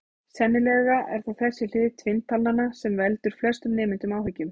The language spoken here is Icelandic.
Sennilega er það þessi hlið tvinntalnanna sem veldur flestum nemendum áhyggjum.